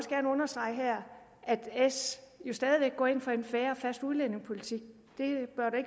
her understrege at s stadig væk går ind for en fair og fast udlændingepolitik